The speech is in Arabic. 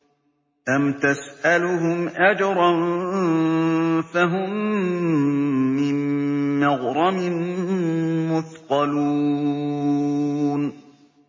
أَمْ تَسْأَلُهُمْ أَجْرًا فَهُم مِّن مَّغْرَمٍ مُّثْقَلُونَ